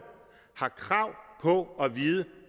har krav på at vide